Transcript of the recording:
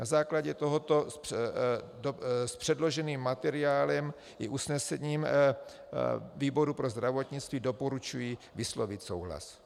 Na základě tohoto s předloženým materiálem i usnesením výboru pro zdravotnictví doporučuji vyslovit souhlas.